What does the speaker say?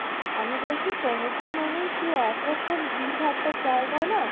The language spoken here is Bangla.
আমি বলছি সমুদ্র মানে সেই একরোখম ভিড় ভাট্টার জায়গা না